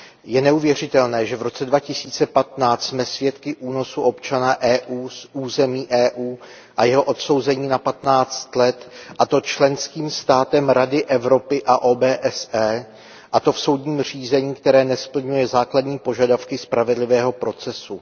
Je neuvěřitelné, že v roce 2015 jsme svědky únosu občana EU z území EU a jeho odsouzení na 15 let, a to členským státem Rady Evropy a OBSE, a to v soudním řízení, které nesplňuje základní požadavky spravedlivého procesu.